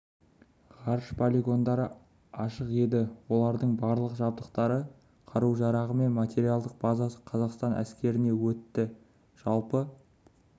ғарыш полигондары ашық еді олардың барлық жабдықтары қару-жарағы мен материалдық базасы қазақстан әскеріне өтті жалпы